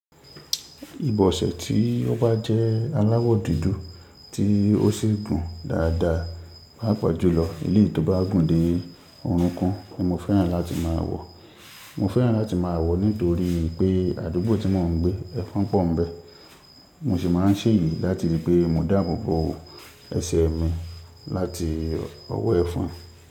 Ìbọ̀sẹ̀ tí ó bá jẹ́ aláwọ̀ dúdú tí ó sì gùn dáadáa, má pa jùlọ ilé tí ó bá gùn dé ọ̀rún kún ni mo fẹ́ràn láti máa wọ̀. Mo fẹ́ràn láti máa wọ̀ nítorí pé àdúgbò tí mò ń gbé, ẹfun pọ̀ ńbẹ̀. Mo sì máa ń ṣèyì láti ri pé mo dáàbò bo ẹsẹ̀ mi láti ọwọ́ ẹfon.